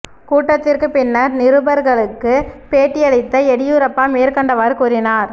கூட்டத்திற்கு பின்னர் நிருபர்களுக்கு பேட்டி அளித்த எடியூரப்பா மேற்கண்டவாறு கூறினார்